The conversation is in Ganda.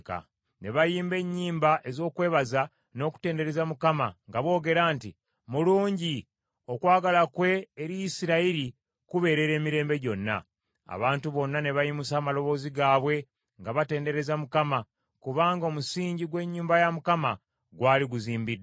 Ne bayimba ennyimba ez’okwebaza n’okutendereza Mukama nga boogera nti, “Mulungi, n’okwagala kwe eri Isirayiri kubeerera emirembe gyonna.” Abantu bonna ne bayimusa amaloboozi gaabwe nga batendereza Mukama , kubanga omusingi gw’ennyumba ya Mukama gwali guzimbiddwa.